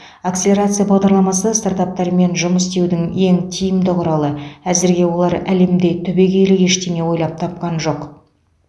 акселерация бағдарламасы стартаптармен жұмыс істеудің ең тиімді құралы әзірге олар әлемде түбегейлі ештеңе ойлап тапқан жоқ